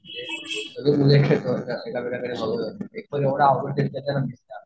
एकतर एवढं अवघड